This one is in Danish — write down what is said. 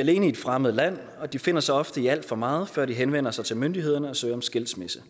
alene i et fremmed land og de finder sig ofte i alt for meget før de henvender sig til myndighederne og søger om skilsmisse